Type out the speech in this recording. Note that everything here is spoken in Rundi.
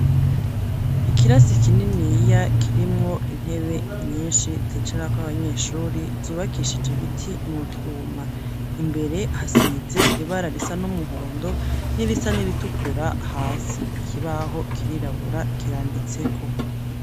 Ikirasi kininiya kirimwo intebe nyinshi zicarako abanyeshuri zubakishije ibiti nutwuma, imbere hasize ibara risa n'umuhondo n'irisa niritukura hasi, ikibaho kirirabura kiranditseko.